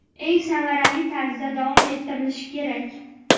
eng samarali tarzda davom ettirilishi kerak.